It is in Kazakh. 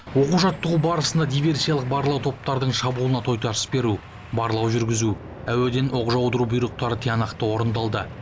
оқу жаттығу барысында диверсиялық барлау топтардың шабуылына тойтарыс беру барлау жүргізу әуеден оқ жаудыру бұйрықтары тиянақты орындалды